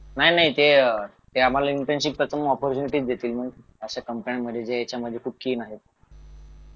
नाही नाही ते ते आम्हाला त्यांची प्रथम ऑपॉर्च्युनिटी देतील असे कंपाऊंडमध्ये जे त्याच्यामध्ये खूप स्कीम आहेत